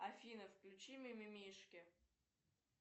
афина включи мимимишки